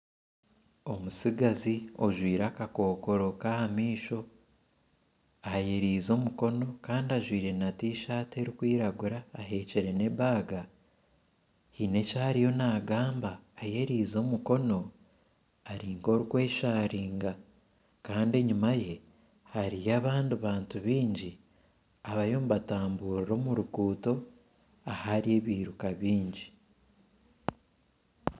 Omutsigazi ojwaire akakokoro kahamaisho ayemereize omukono Kandi ajwaire na Tishatihi erikwiragura ahekire n'enshaho Kandi aine eki ariyo nagamba Kandi ayererize omukono ari nkorikwesharinga Kandi enyuma ye hariyo abandi bantu baingi abariyo nibatamburira omu ruguuto ahari ebyiruka bingi